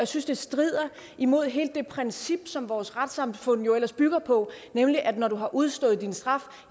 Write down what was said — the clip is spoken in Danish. synes det strider imod hele det princip som vores retssamfund jo ellers bygger på nemlig at når du har udstået din straf